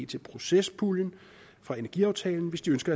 til proces puljen fra energiaftalen hvis de ønsker